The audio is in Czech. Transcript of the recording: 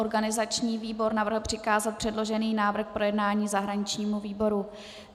Organizační výbor navrhl přikázat předložený návrh k projednání zahraničnímu výboru.